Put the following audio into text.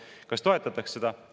Kas toetataks seda?